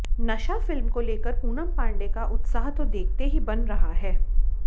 नशा फिल्म को लेकर पूनम पांडे का उत्साह तो देखते ही बन रहा है